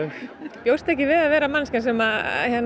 bjóst ekki við að verða manneskja sem